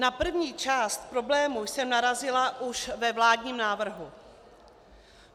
Na první část problému jsem narazila už ve vládním návrhu.